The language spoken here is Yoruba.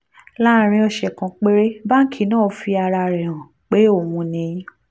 láàárín ọ̀sẹ̀ kan péré báńkì náà fi ara rẹ̀ hàn pé òun ni